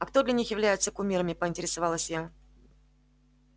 а кто для них является кумирами поинтересовалась я